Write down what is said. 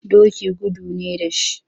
Doki gudu ne da shi.